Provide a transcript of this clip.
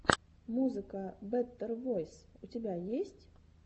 музыка бэтэр войс у тебя есть